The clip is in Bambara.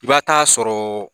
I b'a taa sɔrɔ.